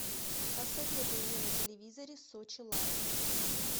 посоветуй мне на телевизоре сочи лайф